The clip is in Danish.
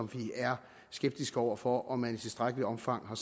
vi er skeptiske over for om man i tilstrækkeligt omfang har